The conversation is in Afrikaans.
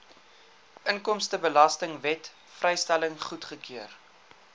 inkomstebelastingwet vrystelling goedgekeur